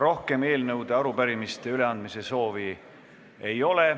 Rohkem eelnõude ja arupärimiste üleandmise soovi ei ole.